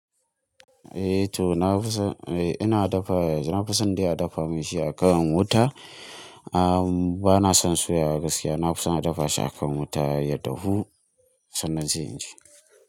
Eh to na fi son, eh ina dafa, na fi son dai a dafa min shi a kan wuta. Ah bana son suyawa gaskiya. Na fi son a dafa shi a kan wuta ya dahu sannan sai in ci.